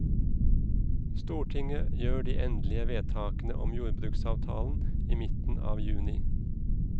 Stortinget gjør de endelige vedtakene om jordbruksavtalen i midten av juni.